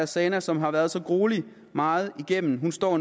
zana som har været så gruelig meget igennem nu står